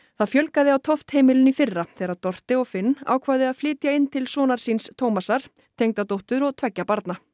það fjölgaði á Toft heimilinu í fyrra þegar Dorte og Finn ákváðu að flytja inn til sonar síns Thomasar tengdadóttur og tveggja barna